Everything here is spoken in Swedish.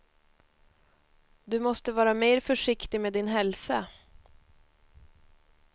Du måste vara mer försiktig med din hälsa.